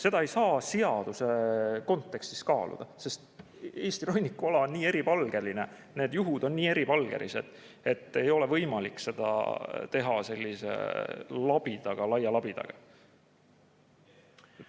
Seda ei saa seaduse kontekstis kaaluda, sest Eesti rannikuala on nii eripalgeline, need juhud on nii eripalgelised, et ei ole võimalik seda teha sellise laia labidaga.